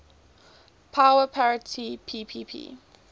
power parity ppp